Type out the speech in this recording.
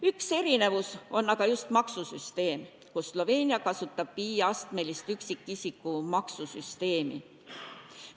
Üks erinevus on aga just maksusüsteem, kus Sloveenia kasutab 5-astmelist üksikisiku maksusüsteemi.